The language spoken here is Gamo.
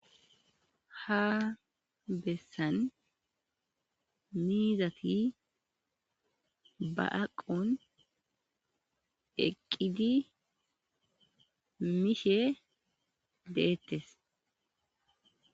ha bessan miizati ba aqon eqqidi miishe deettes.